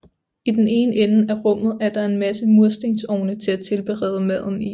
I den ene ende af rummet er der en masse murstensovne til at tilberede maden i